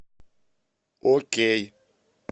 окей